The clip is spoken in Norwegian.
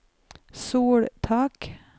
soltak